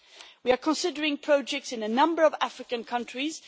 We are considering projects in a number of African countries.